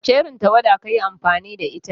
Wace irin tawada kayi amfani da?